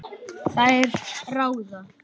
Þær ráða.